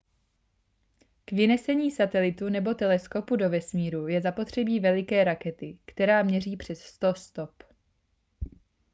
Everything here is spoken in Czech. k vynesení satelitu nebo teleskopu do vesmíru je zapotřebí veliké rakety která měří přes 100 stop